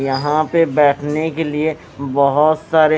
यहां पे बैठने के लिए बहोत सारे--